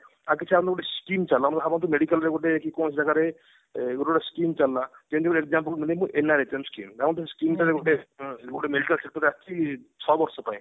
ଆଉ କିଛି ଆମେ ଗୋଟେ skim ଚଲୋଉ ଏମାନେ ଭାବନ୍ତି medical ରେ ବୋଧେ କି କୌଣସି ଜାଗାରେ ଏ ଗୋଟେ ଗୋଟେ skim ଚାଲିଲା ଯେମତି କି example skim ଧରନ୍ତୁ ସେ skim ଆସିଛି ଛ ବର୍ଷ ପାଇଁ